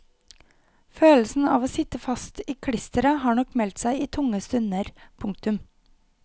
Følelsen av å sitte fast i klisteret har nok meldt seg i tunge stunder. punktum